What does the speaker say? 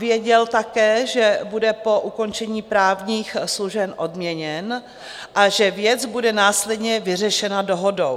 Věděl také, že bude po ukončení právních služeb odměněn a že věc bude následně vyřešena dohodou.